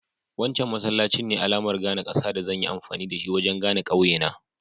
Wancan masallacin ne alamar gane ƙasa da zan yi amfani wajen gane ƙauye na.